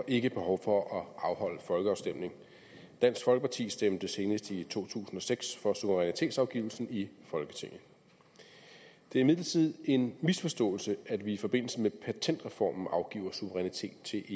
ikke behov for at afholde folkeafstemning dansk folkeparti stemte senest i to tusind og seks for suverænitetsafgivelsen i folketinget det er imidlertid en misforståelse at vi i forbindelse med patentreformen afgiver suverænitet til